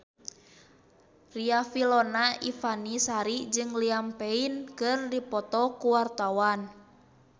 Riafinola Ifani Sari jeung Liam Payne keur dipoto ku wartawan